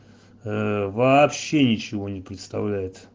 вообще ничего не представляет